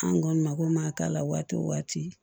An kɔni mako ma k'a la waati o waati